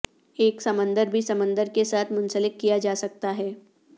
ایک سمندر بھی سمندر کے ساتھ منسلک کیا جا سکتا ہے